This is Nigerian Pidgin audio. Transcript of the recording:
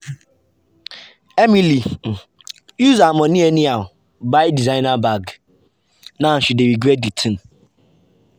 emily um use her money anyhow um buy designer um bag now she dey regret the thing.